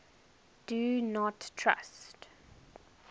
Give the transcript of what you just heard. do not trust